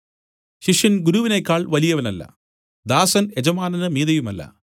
ശിഷ്യൻ ഗുരുവിനേക്കാൾ വലിയവനല്ല ദാസൻ യജമാനന് മീതെയുമല്ല